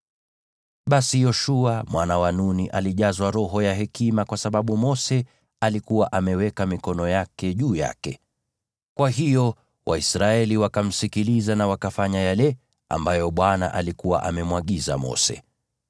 Basi Yoshua mwana wa Nuni alijazwa roho ya hekima kwa sababu Mose alikuwa ameweka mikono yake juu yake. Kwa hiyo Waisraeli wakamsikiliza na wakafanya yale ambayo Bwana alikuwa amemwagiza Mose.